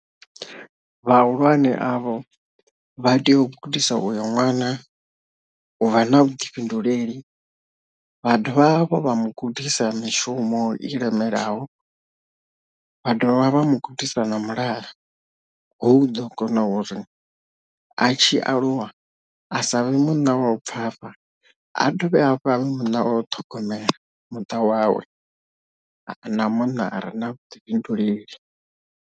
Vhahulwane avho vha tea u gudisa uyo ṅwana u vha na vhuḓifhinduleli vha dovha hafhu vha mu gudisa mishumo i lemelaho, vha dovha vha mu gudisa na mulalo hu ḓo kona uri a tshi aluwa a sa vhe munna wa u bvafha a dovhe hafhu a vhe munna wo ṱhogomela muṱa wawe na munna a re na vhuḓifhinduleli.